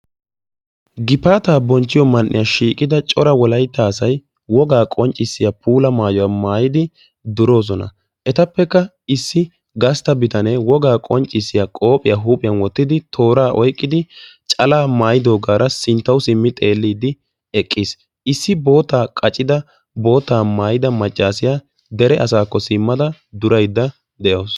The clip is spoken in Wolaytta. Gifaata bonchchiyo man'iyan shiiqida cora wolaytta asay wogaa qonccisiya puula maayuwaa maayidi durosona. Etappekka issi gastta bitanee wogaa qonccisiyaa qophphiyaa huuphphiyaan wottidi tooraa oyqqidi calaa maayidogaara sinttawu simmin xeellidi eqqiis. Issi boottaa maayida boottaa qaccida maccasiyaa dere asaako simmada durayda deawusu.